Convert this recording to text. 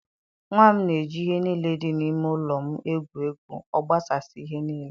Nwa m na-eji ihe niile dị n'ime ụlọ m egwu egwu, ọ gbasasịa ihe niile.